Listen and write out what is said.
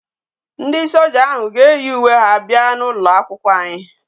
Ndi soja ahu ga eyi uwe ha abia na ulo akwukwo anyi